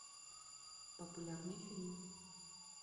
популярные фильмы